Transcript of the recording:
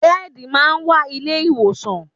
Bẹ́ẹ̀dì máa ń wà ilé ìwòsàn